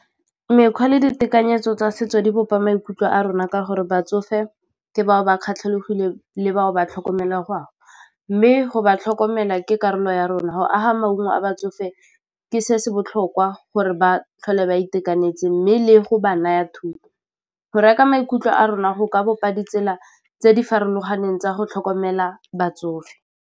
Mekgwa le ditekanyetso tsa setso di bopa maikutlo a rona ka gore batsofe ke bao ba le bao ba mme go ba tlhokomela ke karolo ya rona, go aga maungo a batsofe fa ke se se botlhokwa gore ba tlhole ba itekanetse mme le go ba naya thuto, go reka , maikutlo a rona go ka bopa di tsela tse di farologaneng tsa go tlhokomela batsofe.